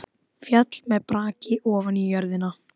Af gleði ég bregð á skokk.